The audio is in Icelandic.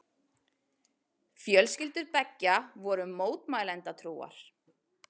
Fjölskyldur beggja voru mótmælendatrúar.